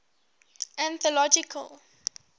anthological